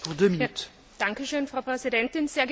Frau Präsidentin, sehr geehrte Damen und Herren!